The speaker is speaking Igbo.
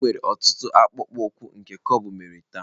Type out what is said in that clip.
Enwere ọtụtụ akpụkpọ ụkwụ nke cobble mere taa.